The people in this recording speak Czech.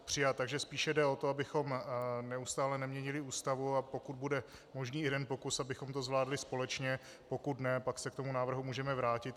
Takže spíše jde o to, abychom neustále neměnili Ústavu, a pokud bude možný jeden pokus, abychom to zvládli společně, pokud ne, pak se k tomu návrhu můžeme vrátit.